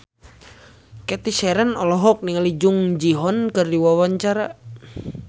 Cathy Sharon olohok ningali Jung Ji Hoon keur diwawancara